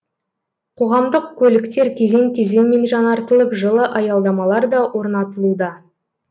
қоғамдық көліктер кезең кезеңмен жаңартылып жылы аялдамалар да орнатылуда